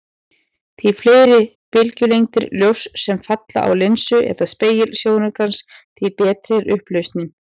Því fleiri bylgjulengdir ljóss sem falla á linsu eða spegil sjónaukans, því betri er upplausnin.